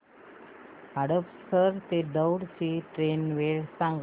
हडपसर ते दौंड ची ट्रेन वेळ सांग